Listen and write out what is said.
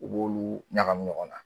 U b'olu ɲagami ɲɔgɔn na.